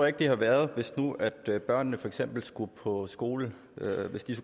ikke det havde været hvis børnene for eksempel skulle gå i skole